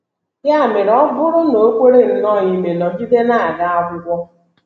Ya mere, ọ bụrụ na o kwere nnọọ ime, nọgide na - aga akwụkwọ.